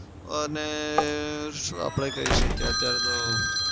અને શું આપડે કઈ શકીએ અત્યાર તો